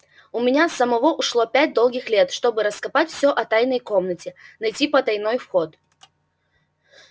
у меня самого ушло пять долгих лет чтобы раскопать всё о тайной комнате найти потайной вход